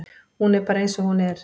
Hún er bara eins og hún er.